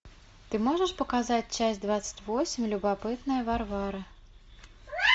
ты можешь показать часть двадцать восемь любопытная варвара